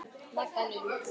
Magga mín.